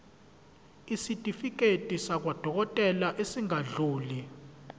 isitifiketi sakwadokodela esingadluli